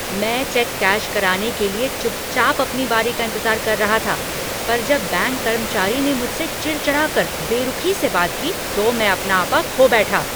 मैं cheque cash कराने के लिए चुप चाप अपनी बारी का इंतजार कर रहा था, पर जब बैंक कर्मचारी ने मुझसे चिड़चिड़ा कर बेरुखी से बात की तो मैं अपना आपा खो बैठा।